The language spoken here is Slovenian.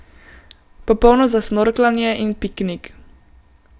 Popolno za snorklanje in piknik.